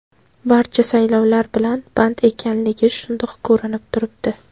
Barcha saylovlar bilan band ekanligi shundoq ko‘rinib turibdi.